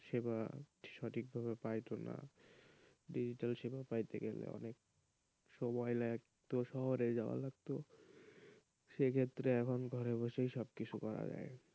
পরিষেবা সঠিকভাবে পায়ত না ডিজিটাল সেবা পাইতে গেলে অনেক সময় লাগতো শহরে যাওয়া লাগত সেই ক্ষেত্রে এখন ঘরে বসেই সব কিছু করা যায়,